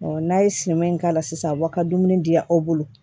n'a ye sɛma in k'a la sisan a b'aw ka dumuni diy'aw bolo